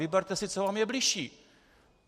Vyberte si, co vám je bližší.